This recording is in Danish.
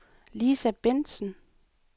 Lisa Bentsen